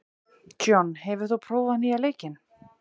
John, hefur þú prófað nýja leikinn?